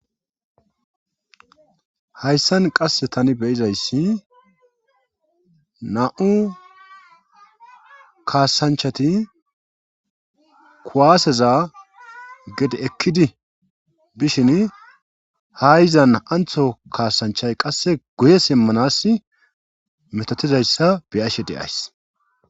Hayssan qasse tani be7izayssi naa7u kaasanchati kuwaaseza gede ekkidi bishini ha yizan antho kaasanchay qasse guye simmanas metotizayssa be7ashe de7ays.